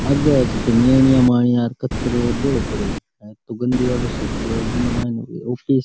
आगे कचरो भरो पड्यो है गंडो वाडो सो पडो है --